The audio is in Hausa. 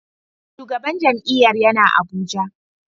Shugaban jam'iyyar yana Abuja.